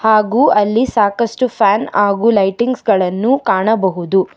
ಹಾಗು ಅಲ್ಲಿ ಸಾಕಷ್ಟು ಫ್ಯಾನ್ ಹಾಗು ಲೈಟಿಂಗ್ಸ್ ಗಳನ್ನು ಕಾಣಬಹುದು.